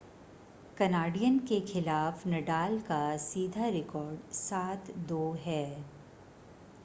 Canadian के खिलाफ Nadal का सीधा रिकॉर्ड 7-2 है